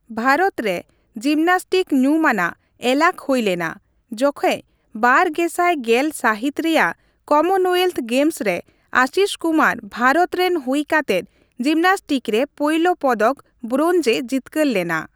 ᱵᱷᱟᱨᱚᱛ ᱨᱮ ᱡᱤᱢᱱᱮᱥᱴᱤᱠ ᱧᱩᱢᱟᱱᱟᱜ ᱮᱞᱟᱠ ᱦᱩᱭᱞᱮᱱᱟ, ᱡᱚᱠᱷᱮᱡᱽ ᱵᱟᱨ ᱜᱮᱥᱟᱭ ᱜᱮᱞ ᱥᱟᱹᱦᱤᱛ ᱨᱮᱭᱟᱜ ᱠᱚᱢᱚᱱᱳᱭᱮᱞᱛᱷ ᱜᱮᱢᱥ ᱨᱮ, ᱟᱥᱤᱥ ᱠᱩᱢᱟᱨ ᱵᱷᱟᱨᱚᱛ ᱨᱮᱱ ᱦᱩᱭ ᱠᱟᱛᱮᱫ ᱡᱤᱢᱱᱟᱥᱴᱠ ᱨᱮ ᱯᱳᱭᱞᱳ ᱯᱚᱫᱚᱠ ᱵᱨᱳᱧᱡᱽᱼᱮ ᱡᱤᱛᱠᱟᱹᱨ ᱞᱮᱱᱟ ᱾